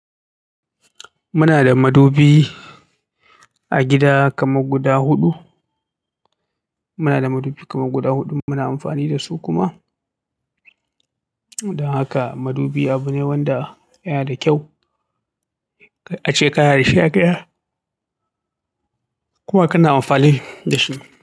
Muna da madubi a gida kamar guda huɗu. Muna da madubi kamar guda huɗu muna amfani da su kuma. Don haka madubi abu ne wanda yana da kyau a ce kana da shi a gida kuma kana amfani da shi.